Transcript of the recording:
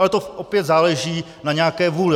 Ale to opět záleží na nějaké vůli.